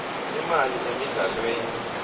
imali emidlalweni